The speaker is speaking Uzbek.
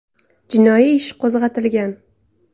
Jinoiy ish qo‘zg‘atilgan.